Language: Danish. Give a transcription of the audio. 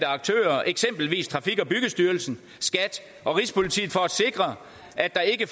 aktører eksempelvis trafik og byggestyrelsen skat og rigspolitiet for at sikre at der ikke